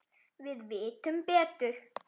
Við vitum betur